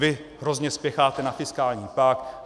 Vy hrozně spěcháte na fiskální pakt.